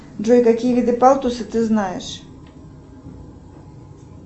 джой какие виды палтуса ты знаешь